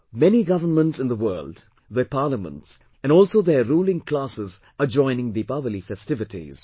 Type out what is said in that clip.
Many Governments in the world, their Parliaments and also their ruling classes are joining Deepawali festivities